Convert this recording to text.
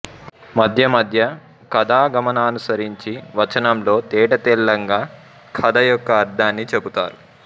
మధ్య మధ్య కథా గమనాన్ననుసరించి వచనంలో తేట తెల్లంగా కథ యొక్క అర్థాన్ని చెపుతారు